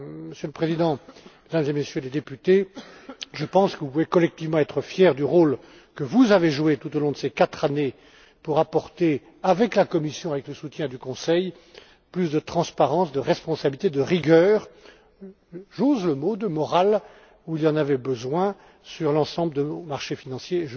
Monsieur le Président, Mesdames et Messieurs les députés, je pense que vous pouvez collectivement être fiers du rôle que vous avez joué tout au long de ces quatre années pour apporter, avec la Commission et avec le soutien du Conseil, plus de transparence, de responsabilité, de rigueur, et j'ose le mot, de morale, là où elle était nécessaire sur l'ensemble de vos marchés financiers.